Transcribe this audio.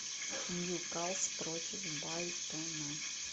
ньюкасл против брайтона